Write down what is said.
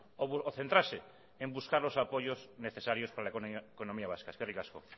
o centrarse en buscar los apoyos necesarios para la economía vasca eskerrik asko